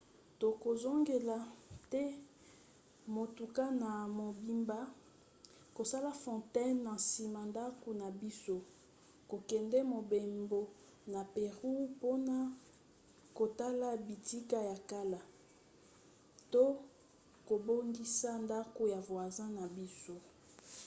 tokozongela te motuka na mobimba kosala fontaine na nsima ndako na biso kokende mobembo na pérou mpona kotala bitika ya kala to kobongisa ndako ya voisin na biso